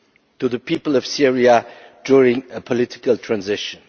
to the people of Syria during a political transition.